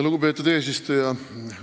Lugupeetud eesistuja!